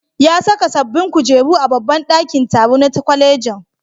Ya saka sabbin kujeru a babban ɗakin taro na kwalejin.